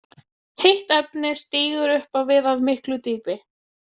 Heitt efni stígur upp á við af miklu dýpi.